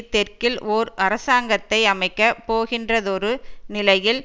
தெற்கில் ஒரு அரசாங்கத்தை அமைக்க போகின்றதொரு நிலையில்